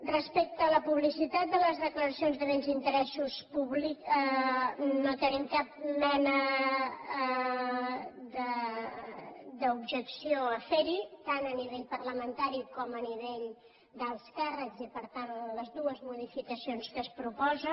respecte a la publicitat de les declaracions de béns i interessos públics no tenim cap mena d’objecció a ferhi tant a nivell parlamentari com a nivell d’alts càrrecs i per tant a les dues modificacions que es proposa